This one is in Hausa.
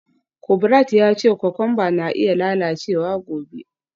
Kubrat ya ce kokwamba na iya lalacewa gobe.